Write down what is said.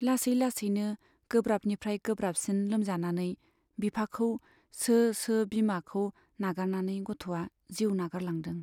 लासै लासैनो गोब्राबनिफ्राइ गोब्राबसिन लोमजानानै बिफाखौ सो सो बिमाखौ नागारनानै गथ'आ जिउ नागारलांदों।